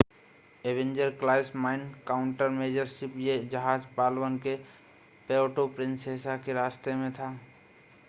Avenger class mine countermeasure ship यह जहाज़ Palawan के प्यर्टो प्रिंसेसा के रास्ते में था